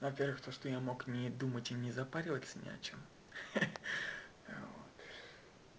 во-первых то что я мог не думать им не запариваться не о чём а вот